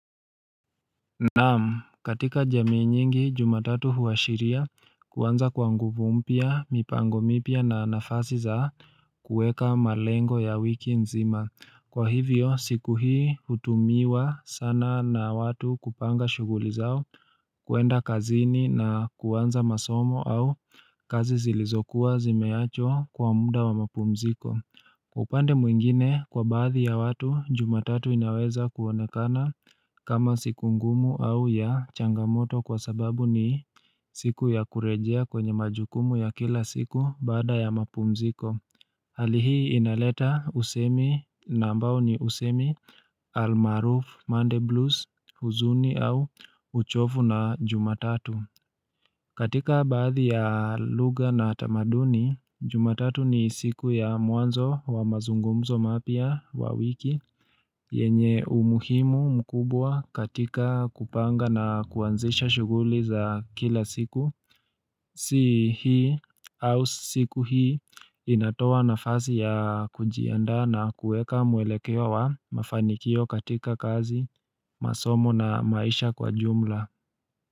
Naam katika jamii nyingi jumatatu huashiria kuanza kwa nguvu mpya mipango mipya na nafasi za kueka malengo ya wiki nzima Kwa hivyo siku hii hutumiwa sana na watu kupanga shughuli zao kuenda kazini na kuanza masomo au kazi zilizokuwa zimeachwa kwa muda wa mapumziko upande mwingine kwa baadhi ya watu jumatatu inaweza kuonekana kama siku ngumu au ya changamoto kwa sababu ni siku ya kurejea kwenye majukumu ya kila siku baada ya mapumziko Hali hii inaleta usemi na ambao ni usemi almaaruf monday blues huzuni au uchovu na jumatatu katika baadhi ya lugha na tamaduni, jumatatu ni siku ya mwanzo wa mazungumzo mapya wa wiki yenye umuhimu mkubwa katika kupanga na kuanzisha shughuli za kila siku Si hii au siku hii inatoa nafasi ya kujiandaa na kueka mwelekeo wa mafanikio katika kazi, masomo na maisha kwa jumla.